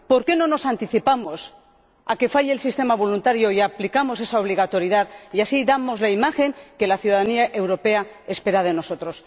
¿Por qué no nos anticipamos al fracaso del sistema voluntario aplicando esa obligatoriedad, dando así la imagen que la ciudadanía europea espera de nosotros?